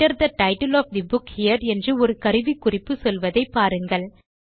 Enter the title of the book here என்று ஒரு கருவிக்குறிப்பு சொல்வதை பாருங்கள்